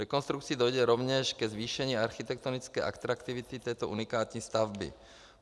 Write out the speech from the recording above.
Rekonstrukcí dojde rovněž ke zvýšení architektonické atraktivity této unikátní stavby.